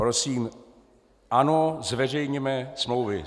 Prosím, ano, zveřejněme smlouvy.